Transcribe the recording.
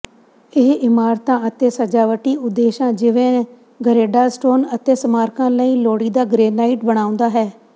ਇਹ ਇਮਾਰਤਾਂ ਅਤੇ ਸਜਾਵਟੀ ਉਦੇਸ਼ਾਂ ਜਿਵੇਂ ਗਰੇਡਾਸਟੋਨ ਅਤੇ ਸਮਾਰਕਾਂ ਲਈ ਲੋੜੀਦਾ ਗ੍ਰੇਨਾਈਟ ਬਣਾਉਂਦਾ ਹੈ